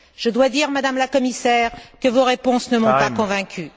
Je dois dire, Madame la Commissaire, que vos réponses ne m'ont pas convaincue.